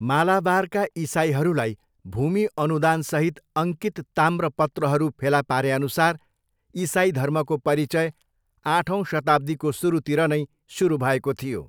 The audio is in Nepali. मालाबारका इसाइहरूलाई भूमि अनुदानसहित अङ्कित ताम्रपत्रहरू फेला पारेअनुसार इसाइ धर्मको परिचय आठौँ शताब्दीको सुरुतिर नै सुरु भएको थियो।